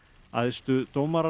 æðstu dómarar